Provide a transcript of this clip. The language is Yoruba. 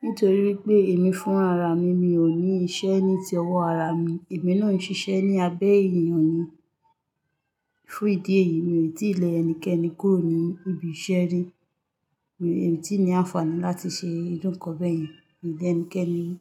Nítorí wípé èmi fún ara mi, mi ò ní iṣẹ́ ní ti ọwọ́ ara mi, èmi ló ń ṣiṣẹ́ ní abẹ́ èèyàn ni. Fún ìdí èyí, mi ò lè tí lé ẹnikẹ́ni kúrò ní ibi iṣẹ́ rí. Mi ò tíì ní àǹfààní láti ṣe ìrú nkan bẹ́ẹ̀ yẹn mí lé ẹnikẹ́ni ri.